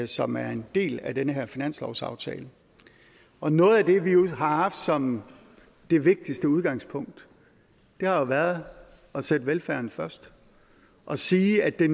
som er en del af den her finanslovsaftale og noget af det vi har haft som det vigtigste udgangspunkt har jo været at sætte velfærden først og sige at det